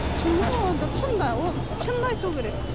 шын ғой ол да шын да ол шынын айту керек